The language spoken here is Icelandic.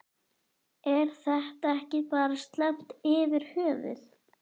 Er þetta ekki bara slæmt yfir höfuð?